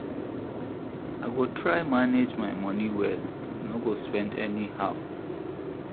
I go try manage my moni well, I no go spend anyhow.